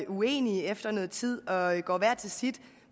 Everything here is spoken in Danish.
uenige efter noget tid og går hver til sit